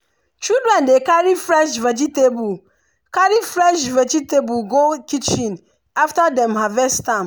children dey carry fresh vegetable carry fresh vegetable go kitchen after dem harvest am.